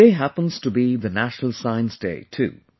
today happens to be the 'National Science Day' too